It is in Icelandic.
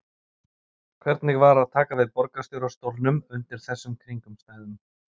Hvernig var að taka við borgarstjóra stólnum undir þessum kringumstæðum?